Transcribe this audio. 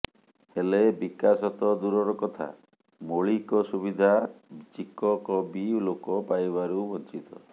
ହେଲେ ବିକାଶ ତ ଦୂରର କଥା ମୋଳିକ ସୁବିଧା ଚିକକବି ଲୋକ ପାଇବାରୁ ବଞ୍ଚିତ